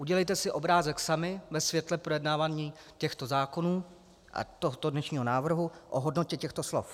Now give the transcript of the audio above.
Udělejte si obrázek sami ve světle projednávaní těchto zákonů a tohoto dnešního návrhu o hodnotě těchto slov.